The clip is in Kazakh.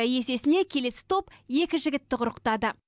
есесіне келесі топ екі жігітті құрықтады